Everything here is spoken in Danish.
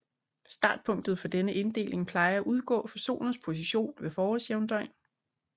Startpunktet for denne inddeling plejer at udgå fra Solens position ved forårsjævndøgn